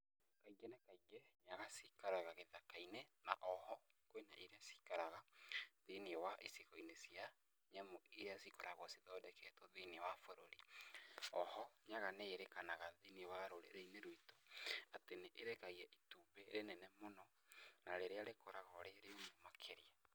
Nyaga cikaraga gĩthaka-inĩ na o ho kwĩna iria cikaraga thĩiniĩ wa icigo-inĩ cia nyamũ iria cikoragwo cithondeketwo thĩiniĩ wa bũrũri.O ho nyaga nĩĩrĩkanaga thĩiniĩ wa rũrĩrĩinĩ rwitũ atĩ nĩ ĩrekagia itumbĩ rĩnene mũno na rĩrĩa rĩkoragwo rĩrĩa bata makĩria.